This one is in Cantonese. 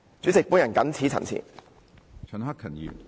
主席，我謹此陳辭。